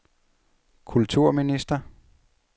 kulturminister